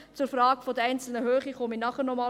Zur Frage der Höhe spreche ich später noch einmal.